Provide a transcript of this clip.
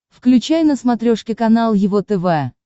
включай на смотрешке канал его тв